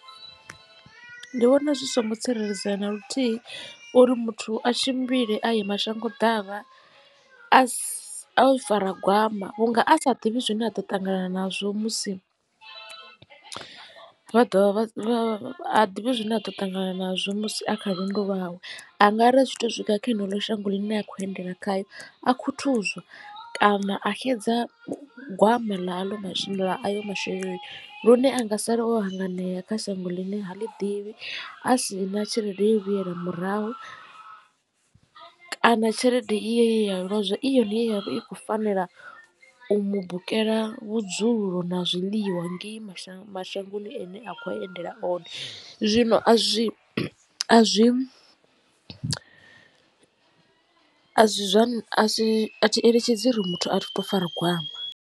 Ndi vhona zwi songo tsireledzea na luthihi uri muthu a tshimbile a ye mashango ḓavha a si o fara gwama vhunga a sa ḓivhi zwine a ḓo ṱangana nazwo musi vha dovha ha ḓivhi zwine a ḓo ṱangana nazwo musi a kha lwendo lwawe. Angari a tshi to swika kha ḽeneḽo shango ḽine a khou endela khayo a khuthuzwa kana a xedza gwama ḽa ayo masheleni lune anga sala o hanganea kha shango ḽine ha ḽi ḓivhi a si na tshelede yo vhuyela murahu kana tshelede i yea lozwa i yone ye ya vha i khou fanela u u mu bukela vhudzulo na zwiḽiwa ngei mashango mashangoni ane a khou endela one zwino a zwi a zwi a zwa a si athi eletshedzi uri muthu a tshi to fara gwama.